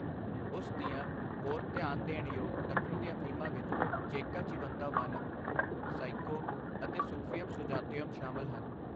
ਉਸ ਦੀਆਂ ਹੋਰ ਧਿਆਨ ਦੇਣ ਯੋਗ ਦੱਖਣ ਦੀਆਂ ਫਿਲਮਾਂ ਵਿੱਚ 'ਚੇੱਕਾ ਚਿਵੰਤਾ ਵਾਨਮ', 'ਸਾਈਕੋ' ਅਤੇ 'ਸੂਫੀਅਮ ਸੁਜਾਤਯੁਮ' ਸ਼ਾਮਲ ਹਨ।